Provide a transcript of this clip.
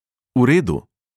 V redu!